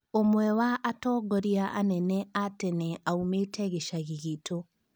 Ũmwe wa atongoria anene a tene aumĩte gĩcagi gitũ